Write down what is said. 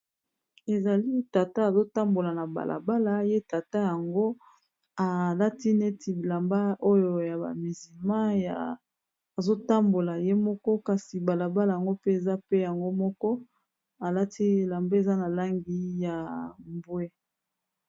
Ezali tata azo tambola na balabala. Ye tata yango, alati neti bilamba oyo ya ba mizilma. Azo tambola ye moko. Kasi balabala yango mpe, eza pe yango moko. alati elamba eza na langi ya mbwe.